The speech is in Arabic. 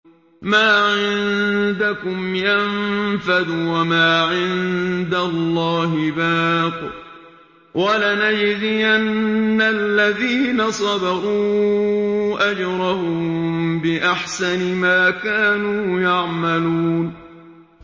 مَا عِندَكُمْ يَنفَدُ ۖ وَمَا عِندَ اللَّهِ بَاقٍ ۗ وَلَنَجْزِيَنَّ الَّذِينَ صَبَرُوا أَجْرَهُم بِأَحْسَنِ مَا كَانُوا يَعْمَلُونَ